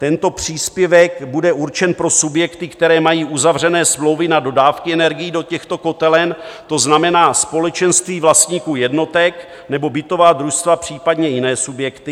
Tento příspěvek bude určen pro subjekty, které mají uzavřené smlouvy na dodávky energií do těchto kotelen, to znamená společenství vlastníků jednotek nebo bytová družstva, případně jiné subjekty.